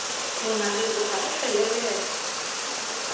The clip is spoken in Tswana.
rona re tloga re felelela